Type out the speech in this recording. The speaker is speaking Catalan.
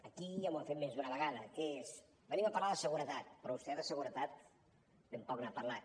aquí ja m’ho ha fet més d’una vegada que és venim a parlar de seguretat però vostè de seguretat ben poc n’ha parlat